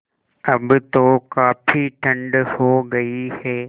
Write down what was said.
अब तो काफ़ी ठण्ड हो गयी है